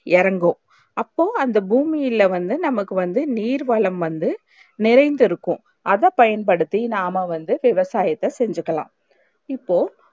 எறங்கும் அப்போ அந்த பூமியிலே வந்து நமக்கு வந்து நீர் வளம் வந்து நிறைந்து இருக்கும் அதை பயன்படுத்தி நாம வந்து விவசாயத்த செஞ்சிக்கலாம் இப்போ